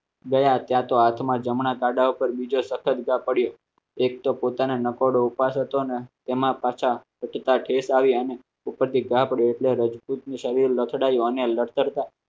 દયા તો હાથમાં જમણા કાઢવા પર બીજો પડ્યો. એક તો પોતાના નકોડો ઉપાડતો ને તેમાં ટેસ્ટ આવી અને ઉપરથી આપણે એટલે રજપૂતની શરીર